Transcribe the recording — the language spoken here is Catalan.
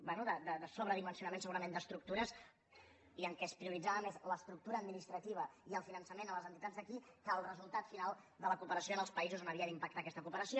bé de sobredimensionament segurament d’estructures i en què es prioritzava més l’estructura administrativa i el finançament de les entitats d’aquí que el resultat final de la cooperació en els països on havia d’impactar aquesta cooperació